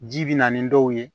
Ji bɛ na ni dɔw ye